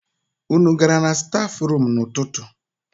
Unu gara na stafrum n'ụtụtụ?